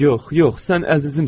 Yox, yox, sən əzizimsən.